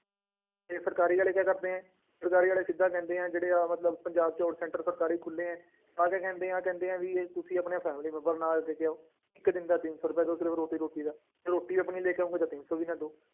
ਤੇ ਸਰਕਾਰੀ ਵਾਲੇ ਕੀ ਕਰਦੇ ਆ, ਸਰਕਾਰੀ ਵਾਲੇ ਸਿੱਧਾ ਕਹਿੰਦੇ ਆ, ਜਿਹੜਾ ਆਹ ਮਤਲਬ ਪੰਜਾਬ 'ਚ ਹੁਣ center ਸਰਕਾਰੀ ਖੁੱਲੇ ਹੈ, ਆਹ ਤੇ ਕਹਿੰਦੇ ਆਹ ਕਹਿੰਦੇ ਆ ਵੀ ਇਹ ਤੁਸੀਂ ਆਪਣੇ family ਮੈਂਬਰ ਨੂੰ ਨਾਲ ਲੈ ਕੇ ਆਓ, ਇੱਕ ਦਿਨ ਦਾ ਤਿੰਨ ਸੌ ਰੁਪਇਆ ਤੇ ਉਹ ਸਿਰਫ਼ ਰੋਟੀ ਰੋਟੀ ਦਾ, ਜੇ ਰੋਟੀ ਆਪਣੀ ਲੈ ਕੇ ਆਓਗੇ ਤਾਂ ਤਿੰਨ ਸੌ ਵੀ ਨਾ ਦਓ।